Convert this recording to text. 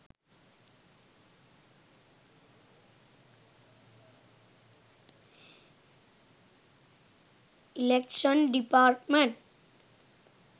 election department